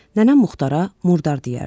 Nənəm Muxtara murdar deyərdi.